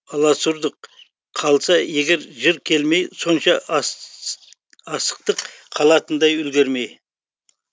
аласұрдық қалса егер жыр келмей сонша асықтық қалатындай үлгермей